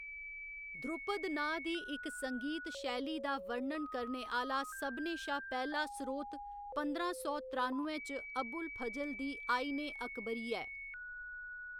ध्रुपद नांऽ दी इक संगीत शैली दा वर्णन करने आह्‌‌‌ला सभनें शा पैह्‌‌ला स्रोत पंदरां सौ त्रानुए च अबुल फजल दी आइन ए अकबरी ऐ।